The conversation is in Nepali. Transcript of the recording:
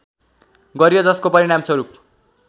गरियो जसको परिणामस्वरूप